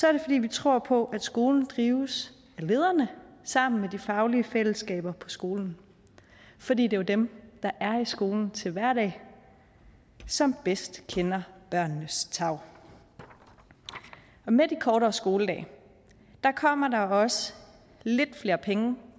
er det fordi vi tror på at skolen drives af lederne sammen med de faglige fællesskaber på skolen for det er jo dem der er i skolen til hverdag som bedst kender børnenes tarv med de kortere skoledage kommer der også lidt flere penge